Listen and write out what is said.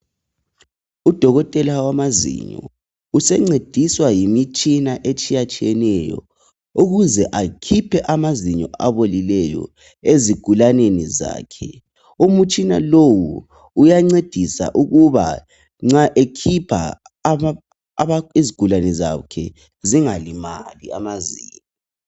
Udokotela wamazinyo usencediswa yimitshina etshiyatshiyeneyo ukuze akhiphe amazinyo abolileyo ezigulaneni zakhe umitshina lowu uyancedisa ukuba nxa ekhipha izigulane zakhe zingalimali amazinyo.